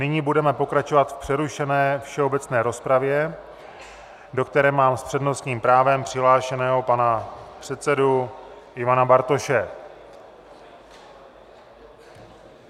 Nyní budeme pokračovat v přerušené všeobecné rozpravě, do které mám s přednostním právem přihlášeného pana předsedu Ivana Bartoše.